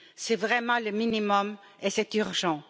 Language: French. C'est vraiment le minimum et c'est urgent.